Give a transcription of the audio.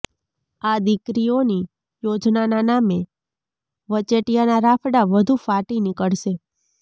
આ દીકરીઓની યોજનાના નામે વચેટિયાના રાફડા વધુ ફાટી નીકળશે